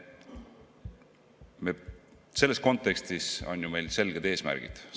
Selles kontekstis on meil ju selged eesmärgid.